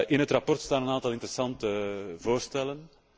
In het verslag staan een aantal interessante voorstellen.